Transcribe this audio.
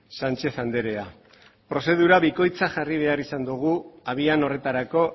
sánchez andrea prozedura bikoitza jarri behar izan dugu abian horretarako